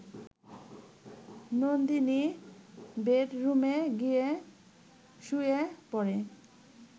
নন্দিনী বেডরুমে গিয়ে শুয়ে পড়ে